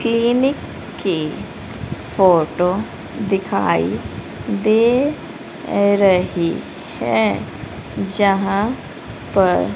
clinic की photo दिखाई दे रही है जहां पर--